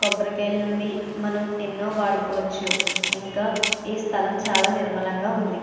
కొబ్బరి కాయలు నించి మనం ఎన్నో వాడుకోవచ్చు ఇంకా ఈ స్థలం చాలా నిర్మలంగా ఉంది.